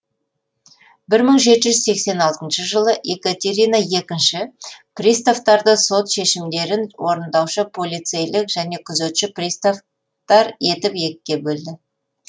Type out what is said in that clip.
бір мың жеті жүз сексен алтыншы жылы екатерина екінші приставтарды сот шешімдерін орындаушы полицейлік және күзетші приставтар етіп екіге бөлді